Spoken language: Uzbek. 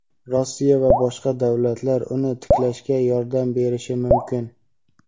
Rossiya va boshqa davlatlar uni tiklashga yordam berishi mumkin.